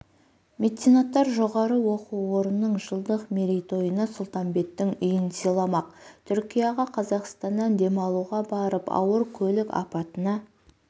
меценаттар жоғары оқу орнының жылдық мерейтойына сұлтанбеттің үйін сыйламақ түркияға қазақстаннан демалуға барып ауыр көлік апатына